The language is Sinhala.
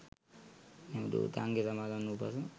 මෙම ධූතාංගය සමාදන් වූ පසු